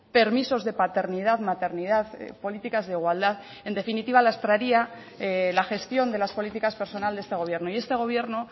permisos de paternidad maternidad políticas de igualdad en definitiva lastraría la gestión de las políticas personal de este gobierno y este gobierno